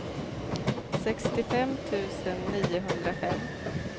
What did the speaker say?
sextiofem tusen niohundrafem